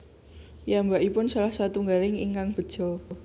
Piyambakipun salah satunggaling ingkang beja